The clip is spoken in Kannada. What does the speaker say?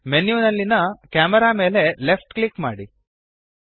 ಮೆನ್ಯುದಲ್ಲಿನ ಕೆಮೆರಾ ಮೇಲೆ ಲೆಫ್ಟ್ ಕ್ಲಿಕ್ ಮಾಡಿರಿ